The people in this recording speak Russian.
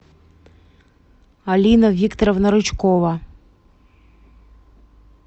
алина викторовна рычкова